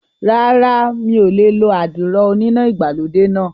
Rárá, mi ò lè lo àdìrò oníná ìgbàlódé náà